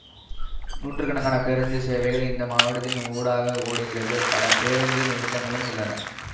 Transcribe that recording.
நூற்று கணக்கான பேருந்து சேவைகள் இந்த மாவட்டத்தின் ஊடாக ஓடுகிறது பல பேருந்து நிறுத்தகங்களும் உள்ளன